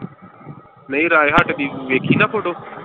ਨਹੀਂ ਰਾਏ ਹੱਟ ਦੀ ਵੇਖੀ ਨਾ photo.